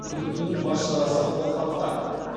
күдіктінің бас шарасы қолхатта